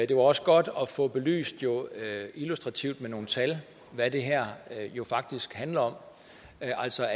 det var også godt at få belyst illustrativt med nogle tal hvad det her jo faktisk handler om altså